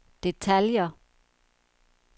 detaljer